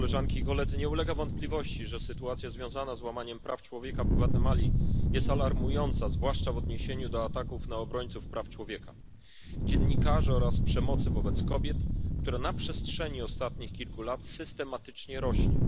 Nie ulega wątpliwości, że sytuacja związana z łamaniem praw człowieka w Gwatemali jest alarmująca, zwłaszcza w odniesieniu do ataków na obrońców praw człowieka i dziennikarzy oraz przemocy wobec kobiet, która na przestrzeni ostatnich kilku lat systematycznie rośnie.